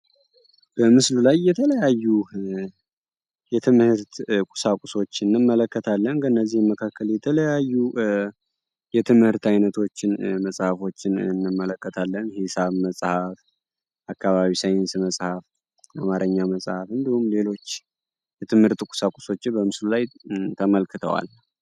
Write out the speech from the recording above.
በምስሉ ላይ የተለያዩ የትምህርት ቁሳቁሶችን እንመለከታለን። ከእነዚህም መካከል የተለያዩ የትምህርት አይነቶችን መፃህፎችን እንመለከታለን። ለምሳሌ ሒሳብ መፅሐፍ አካባቢ ሳይንስ መፅሐፍ አማረኛ መፅሐፍ እንመለከታለን።